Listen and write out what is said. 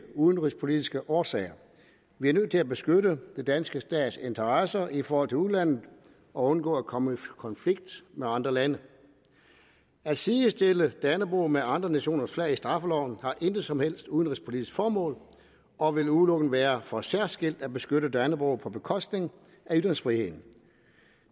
udenrigspolitiske årsager vi er nødt til at beskytte den danske stats interesser i forhold til udlandet og undgå at komme i konflikt med andre lande at sidestille dannebrog med andre nationers flag i straffeloven har intet som helst udenrigspolitisk formål og vil udelukkende være for særskilt at beskytte dannebrog på bekostning af ytringsfriheden